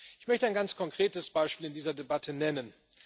Ich möchte ein ganz konkretes Beispiel in dieser Debatte nennen.